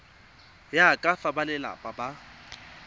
ya ka fa balelapa ba